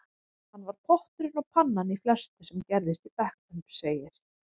Hann var potturinn og pannan í flestu sem gerðist í bekknum, segir